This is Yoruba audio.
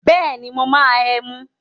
Bẹ́ẹ̀ni, mo máa ẹmu.